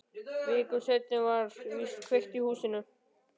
Viku seinna var víst kveikt í húsinu.